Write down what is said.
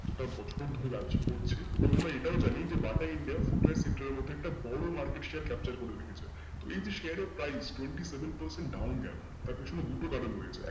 গোটা বছর ধরে ব্যাবসা করছে এবং আমরা এটাও জানি যে বাটা India footwear এর sector এর মধ্যে একটা বড় market capture করে রেখেছে তো এই যে share এর price twenty seven percent down এ গেলো তার পেছনেয় দুটো কারন রয়েছে একটা,